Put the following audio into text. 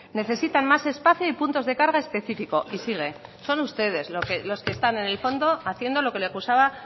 necesitan más espacio y puntos de carga específico y sigue son ustedes los que están en el fondo haciendo lo que le acusaba